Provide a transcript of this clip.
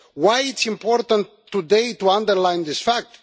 Why it is important today to underline this fact?